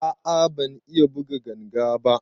A a ban iya buga ganga ba.